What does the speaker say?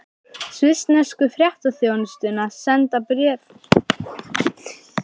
Svissnesku fréttaþjónustuna, senda fréttir til Íslands.